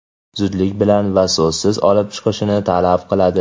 zudlik bilan va so‘zsiz olib chiqilishini talab qiladi.